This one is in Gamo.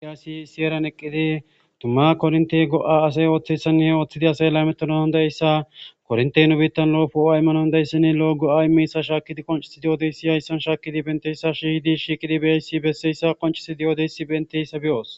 Ayaassi issi eran eqqidi tumma korinte go'a asay ooththessanne ooththidi asa ela metonahundayssa korntey nu biittan lo'ofo7o aymano ndayssinni lo'o go'a meyssa shaakidi qoncisi diodeyssi yayssan shaakidi benteyssa shihidi shiiqidi beyayssi besseyssa qoncisi di'odeyssi benteyssa biyoos